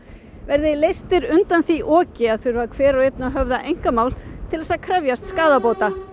verði leystir undan því oki að þurfa hver og einn að höfða mál til að krefjast skaðabóta